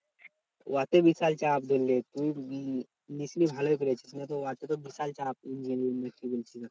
ওতেই বিশাল চাপ ধরলে তুই নিসনি ভালোই করেছিস ওতে তো বিশাল চাপ engineering না কি বলছিস ওটা।